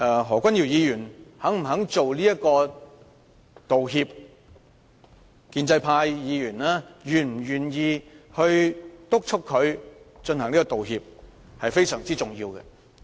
何君堯議員是否願意道歉，以及建制派議員是否願意督促他道歉，是非常重要的問題。